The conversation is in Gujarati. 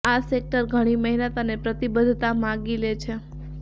આ સેક્ટર ઘણી મહેનત અને પ્રતિબદ્ધતા માગી લે છે